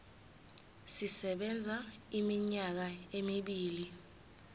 sisebenza iminyaka emibili